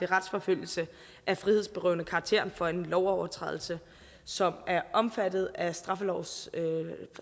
retsforfølgelse af frihedsberøvende karakter for en lovovertrædelse som er omfattet af straffelovens